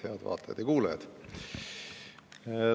Head vaatajad ja kuulajad!